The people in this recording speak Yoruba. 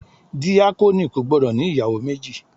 Díákónì kò gbọ́dọ̀ ní ìyàwó méjì.